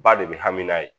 Ba de be hami n'a ye